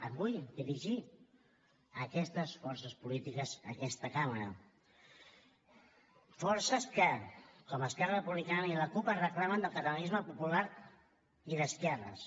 em vull dirigir a aquestes forces polítiques d’aquesta cambra forces que com esquerra republicana i la cup reclamen el catalanisme popular i d’esquerres